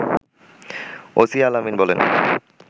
OC Al Amin বলেন